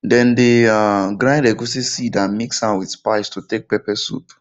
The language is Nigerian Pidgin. dem dey um grind egusi seed and mix am with spice to take pepper soup